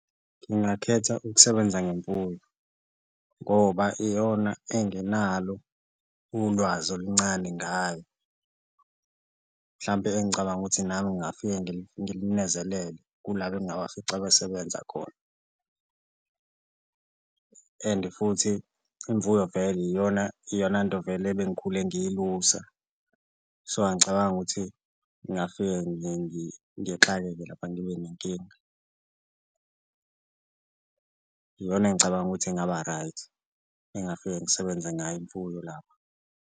Ngingakhetha ukusebenza ngemfuyo ngoba iyona enginalo ulwazi oluncane ngayo mhlampe engicabanga ukuthi nami ngingafike ngilinezelele kulaba engabafica besebenza khona and futhi imfuyo vele iyona iyonanto vele ebengikhulume ngiyilusa so, angicabangi ukuthi ngingafike ngixakeke lapha ngibe nenkinga. Iyona engicabanga ukuthi ingaba-right engafike ngisebenze ngayo imfuyo lapho.